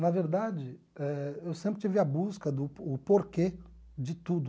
Na verdade, eh eu sempre tive a busca do o porquê de tudo.